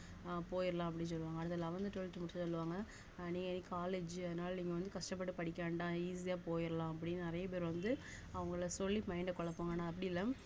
அஹ் போயிடலாம் அப்படீன்னு சொல்லுவாங்க அதுல eleventh twelfth முடிச்சு சொல்லுவாங்க நீ college உ அதனால நீங்க வந்து கஷ்டப்பட்டு படிக்க வேண்டாம் easy யா போயிரலாம் அப்படீன்னு நிறைய பேர் வந்து அவங்கள சொல்லி mind அ குழப்புவாங்க நான் அப்படி இல்ல